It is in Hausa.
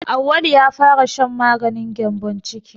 Auwalu ya fara shan maganin gyambon ciki.